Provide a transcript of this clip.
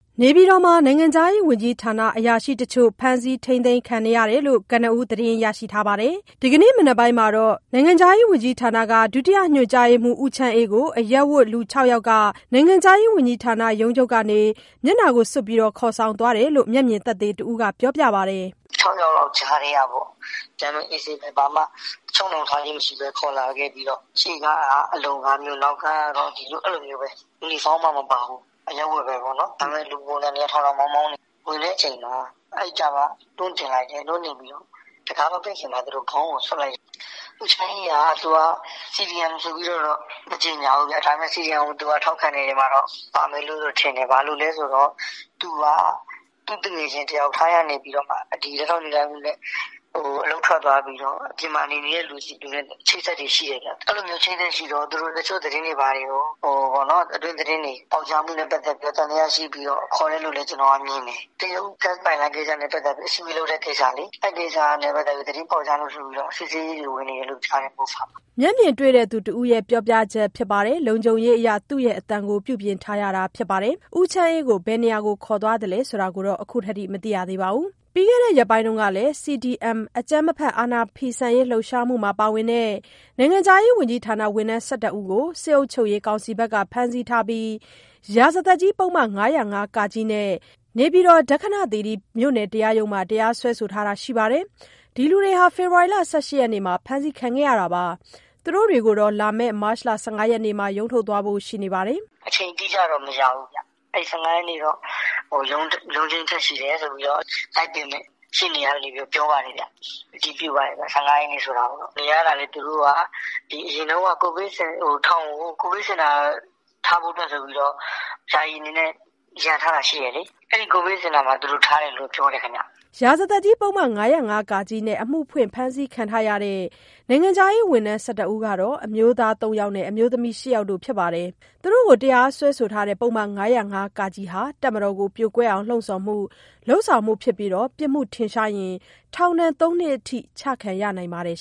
နေပြည်တော်က နိုင်ငံခြားရေးဝန်ကြီးဌာန အရာရှိတချို့ကို အရပ်ဝတ်တွေ ဒီကနေ့ လာရောက်ဖမ်းဆီးတာ ရှိခဲ့တယ်လို့ ကနဦးသတင်းရထားတာပါ။ ဒီကနေ့မနက်ပိုင်းမှာတော့ နိုင်ငံခြားရေးဝန်ကြီးဌာန ဒုညွှန်မှူး ဦးချမ်းအေးကို အရပ်ဝတ်လူ ၆ ယောက်က နိုင်ငံခြားရေးဝန်ကြီးဌာနရုံးချုပ်ကနေ မျက်နှာစွပ်ကာ ခေါ်ဆောင်သွားတယ်လို့ မျက်မြင်သက်သေတဦးကပြောပါတယ်။ "၆ ယောက်လောက်ကြားထဲကပေါ့... ဒီတိုင်း အေးဆေးပဲ... ဘာမှ ချုပ်နှောင်ထားခြင်းမရှိဘဲ၊ ခေါ်လာခဲ့ပြီးတော့ ရှေ့ကားကလည်း အလုံကားမျိုး နောက်ကားကလည်း အလုံကားပဲ။ ယူနီဖောင်း မပါဘူး။ အရပ်ဝတ်ပဲ.. လူပုံစံတွေကတော့ ထောင်ထောင်မောင်းမောင်းတွေ ဝင်တဲ့ အချိန်မှာ တွန်းတင်တယ်။ နောက်ကားပေါ်ရောက်တော့ တံခါးမပိတ်ခင်မှာ ခေါင်းကို စွပ်လိုက်တယ်။ အဲဒါ လေးပါဗျ။ ဦးချမ်းအေးက သူက CDM လို့တော့ မကြေငြာဘူး။ ဒါပေမဲ့ ထောက်ခံမယ့်ထဲမှာတော့ ပါမယ်ထင်တယ်။ ဘာလို့လဲဆိုတော့ သူက သူ့သူငယ်ချင်း တယောက် ထိုင်းကနေပြီးတော့ လက်ထောက်ညွှန်ကြားရေးမှူးနဲ့ အလုပ်ထွက်သွားပြီးတော့ အပြင်မှာနေတဲ့သူနဲ့ အချိတ်အဆက်တွေ ရှိတယ်ဗျ။ အချိတ်အဆက်ရှိတော့ အတွင်းသတင်းတွေ ပေါက်ကြားမှုနဲ့ ပတ်သက်ပြီးတော့ သံသယရှိပြီးတော့ ခုလို ခေါ်တယ်လို့လည်း ကျနော်က မြင်တယ်။ တရုတ်ဂတ်စ်ပိုက်လိုင်းကိစ္စနဲ့ ပတ်သတ်လို့ အစည်းအဝေးလုပ်တဲ့ကိစ္စလေ... အဲဒီကိစ္စနဲ့ပတ်သတ်ပြီး သတင်းပေါက်ကြားလို့ဆိုပြီး စစ်ဆေးရေးဝင်နေတယ်... MOFA မှာလေ။" မျက်မြင်တဲ့ သူတဦးပြောပြချက်ဖြစ်ပြီး လုံခြုံရေးအရ အသံပြုပြင်ထားရတာဖြစ်ပါတယ်။ ဦးချမ်းအေးကို ဘယ်ခေါ်ဆောင်သွားသလဲ ဆိုတာကတော့ ခုထိမသိရသေးပါဘူး။ ပြီးခဲ့တဲ့ ရက်ပိုင်းကလည်း CDM အကြမ်းမဖက် အာဏာဖီဆန်ရေး လှုပ်ရှားမှုမှာ ပါဝင်တဲ့ နိုင်ငံခြားရေးဝန်ကြီးဌာန ဝန်ထမ်း ၁၁ ယောက်ကို စစ်အုပ်ချုပ်ရေးကောင်စီဘက်က ဖမ်းဆီးထားပြီး ရာဇသတ်ကြီးပုဒ်မ ၅၀၅(က)နဲ့ နေပြည်တော် ဒက္ခဏသီရိမြို့နယ်တရားရုံးမှာ တရားစွဲဆိုထားတာရှိပါတယ်။ ဒီလူတွေဟာ ဖေဖော်ဝါရီ ၁၈ ရက်နေ့မှာ အဖမ်းခံခဲ့ရတာပါ။ သူတို့တွေကိုတော့ လာမယ့် မတ် ၁၅ ရက်နေ့မှာ ရုံးထုတ်သွားဖို့ ရှိပါတယ်။ "အချိန်တိကျတော့ မသိရသေးဘူး။ အဲဒီ ၁၅ ရက်နေ့တော့ ရုံးချိန်းထပ် ရှိတယ်ဆိုပြီး သိတယ်။ လိုက်ပေးမယ့် ရှေ့နေတွေဆီကနေ ပြောပါတယ်ဗျ။ ၁၅ ရက်နေ့ဆိုတာကိုတော့ အတည်ပြုပါတယ်။ နေရတာလည်း သူတို့က ထောင်ကို အရင်တုန်းက ကိုဗစ်စင်တာထားဖို့အတွက်ဆိုပြီး ယာယီအနေနဲ့ လုပ်ထားတာရှိတယ်လေ။ အဲဒီကိုဗစ်စင်တာမှာထားတယ်လို့ ပြောတယ်။" ရာဇသတ်ကြီးပုဒ်မ ၅၀၅(က)နဲ့ အမှုဖွင့်ဖမ်းဆီးခံထားရတဲ့ နိုင်ငံခြားရေးဝန်ထမ်း ၁၁ ယောက်ကတော့ အမျိုးသား ၃ ယောက်နဲ့ အမျိုးသမီး ၈ ယောက်တို့ ဖြစ်ပါတယ်။ သူတို့ကို တရားစွဲဆိုတဲ့ ပုဒ်မ ၅၀၅ (က) ဟာ တပ်မတော် ကို ပြိုကွဲအောင် လှုံ့ဆော်မှု/လုပ်ဆောင်မှု ဖြစ်ပြီး ပြစ်မှုထင်ရှားရင် ထောင်ဒဏ် သုံး နှစ်ထိ ချမှတ်ခံရနိုင်ပါတယ်